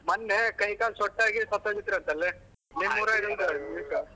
ಮೊನ್ನೆ ಕೈ ಕಾಲ್ ಸೊಟ್ ಆಗಿ ಸತ್ ಹೋಗಿದ್ರಂತಲೆ ನಿಮ್ಮೂರಾಗಿಂದು .